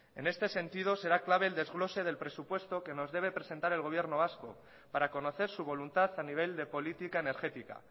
en este sentido será clave el desglose del presupuesto que nos debe presentar el gobierno vasco para conocer su voluntad a nivel de política energética